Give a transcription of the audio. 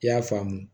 I y'a faamu